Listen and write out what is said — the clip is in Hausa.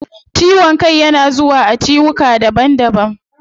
Ciwon kai yana zuwa a ciwuka daban daban